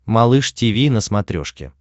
малыш тиви на смотрешке